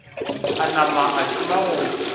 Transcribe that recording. a nama a thoma go